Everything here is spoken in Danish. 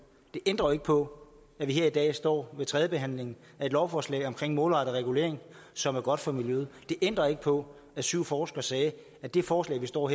det ændrer jo ikke på at vi her i dag står ved tredje behandling af et lovforslag om en målrettet regulering som er godt for miljøet det ændrer ikke på at syv forskere sagde at det forslag vi står